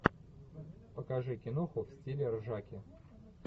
покажи киноху в стиле ржаки